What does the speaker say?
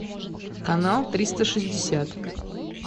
канал триста шестьдесят